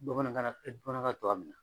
Bamanankan na bamanankan na cogoya min na.